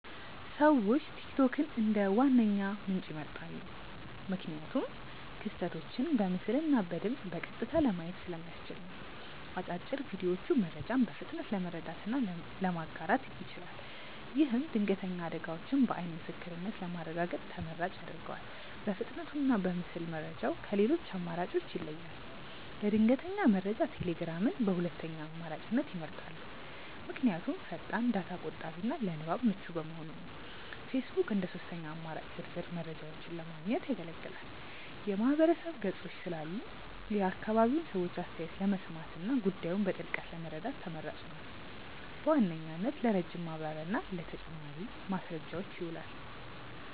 ሰዎች ቲክቶክን እንደ ዋነኛ ምንጭ ይመርጣሉ። ምክንያቱም ክስተቶችን በምስልና በድምፅ በቀጥታ ለማየት ስለሚያስችል ነው። አጫጭር ቪዲዮዎቹ መረጃን በፍጥነት ለመረዳትና ለማጋራት ይችላል። ይህም ድንገተኛ አደጋዎችን በዓይን ምስክርነት ለማረጋገጥ ተመራጭ ያደርገዋል። በፍጥነቱና በምስል መረጃው ከሌሎች አማራጮች ይለያል። ለድንገተኛ መረጃ ቴሌግራምን በሁለተኛ አማራጭነት ይመርጣሉ። ምክንያቱም ፈጣን፣ ዳታ ቆጣቢና ለንባብ ምቹ በመሆኑ ነው። ፌስቡክ እንደ ሦስተኛ አማራጭ ዝርዝር መረጃዎችን ለማግኘት ያገለግላል። የማህበረሰብ ገጾች ስላሉ የአካባቢውን ሰዎች አስተያየት ለመስማትና ጉዳዩን በጥልቀት ለመረዳት ተመራጭ ነው። በዋናነት ለረጅም ማብራሪያና ለተጨማሪ ማስረጃዎች ይውላል።